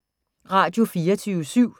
Radio24syv